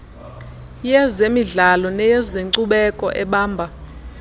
yezemidlao neyezenkcubeko ebamba